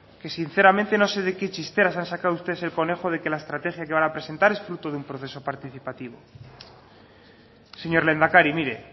que sinceramente no sé de qué chistera se han sacado ustedes el conejo de que la estrategia que van a presentar es fruto de un proceso participativo señor lehendakari mire